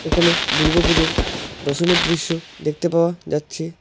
এখানে দুর্গাপুজোর দশমীর দৃশ্য দেখতে পাওয়া যাচ্ছে।